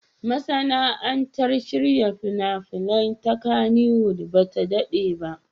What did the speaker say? Masana'antar shirya fina-finai ta Kannywood ba ta daɗe ba.